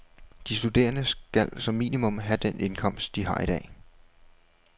De studerende skal som minimum have den indkomst, de har i dag.